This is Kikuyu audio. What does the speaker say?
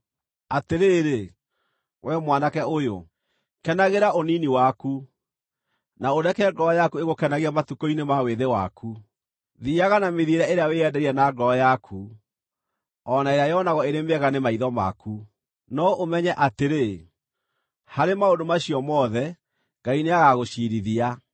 Atĩrĩrĩ, wee mwanake ũyũ, kenagĩra ũnini waku, na ũreke ngoro yaku ĩgũkenagie matukũ-inĩ ma wĩthĩ waku. Thiiaga na mĩthiĩre ĩrĩa wĩyendeire na ngoro yaku, o na ĩrĩa yonagwo ĩrĩ mĩega nĩ maitho maku, no ũmenye atĩrĩ, harĩ maũndũ macio mothe, Ngai nĩagagũciirithia.